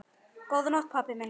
Góða nótt pabbi minn.